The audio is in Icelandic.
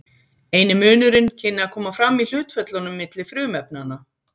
Eini munurinn kynni að koma fram í hlutföllunum milli frumefnanna.